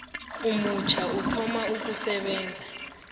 omutjha uthoma ukusebenza